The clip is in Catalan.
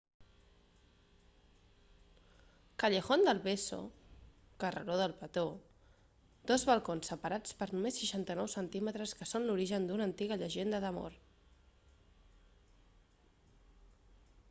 callejón del beso carreró del petó. dos balcons separats per només 69 centímetres que són l'origen d'una antiga llegenda d'amor